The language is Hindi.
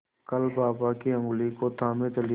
कल बाबा की ऊँगली को थामे चली थी